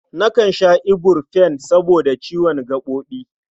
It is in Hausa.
Nakan sha iburfen saboda ciwon gaɓoɓi.